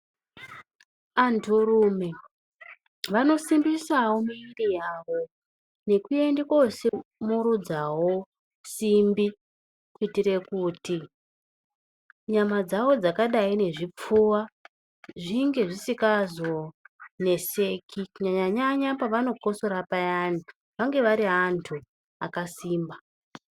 Anhurume vanosimbisawo miri yavo ngekuende koomurudzawo simbi kuitire kuti nyama dzawo dzakadayi ngezvipfuva zvinge zvisingazoneseki kunyanya nyanya pavanokotsora payani vange vari vantu vakasimba.